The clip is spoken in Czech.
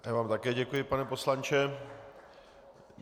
Já vám také děkuji, pane poslanče.